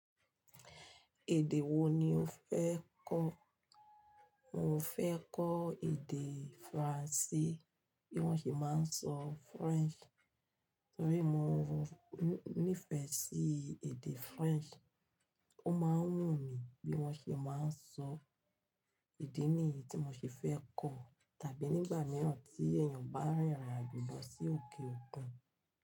Èdè wo ni o fẹ́ kọ́? Mo fẹ́ kọ́ èdè Faransé, bí wọ́n ṣe máa ń sọ French. Nítorí mo nífẹ̀ẹ́ sí èdè French, ó máa ń wù mí bí wọ́n ṣe máa ń sọ èdè ní èyí tí mo ṣe fẹ́ kọ́ tàbí nígbà mìíràn tí èèyàn bá rìnrìn àjò lọ sí òkè òkun.